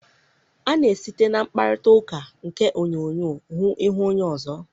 A na-esite na mkparịtaụka nke onyoonyo hụ ihu onye ọzọ.